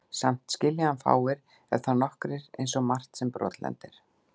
Samt skilja hann fáir, ef þá nokkrir, einsog margt sem brotlendir.